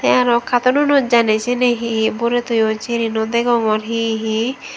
tey aro katonunot janey seni hi borey toyon syeni naw degongor hi hi.